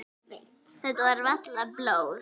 Nei, þetta er varla blóð.